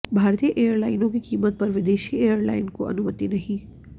भारतीय एयरलाइनों की कीमत पर विदेशी एयरलाइन को अनुमति नही